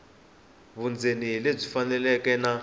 vundzeni hi lebyi faneleke na